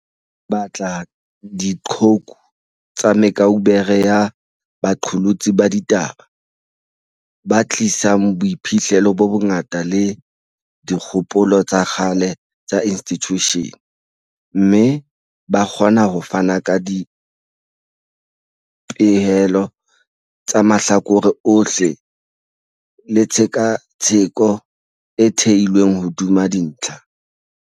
Re batla diqhoku tsa me kaubere ya baqolotsi ba di taba, ba tlisang boiphihlelo bo bongata le dikgopolo tsa kgale tsa institjushene, mme ba kgona ho fana ka dipehelo tsa mahlakore ohle le tshe katsheko e theilweng hodima dintlha.